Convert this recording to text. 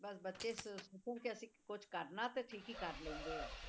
ਬਸ ਬੱਚੇ ਸ~ ਸੋਚਣ ਕਿ ਅਸੀਂ ਕੁਛ ਕਰਨਾ ਹੈ ਤੇ ਠੀਕ ਹੀ ਕਰ ਲੈਂਦੇ ਆ।